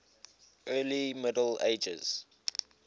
early middle ages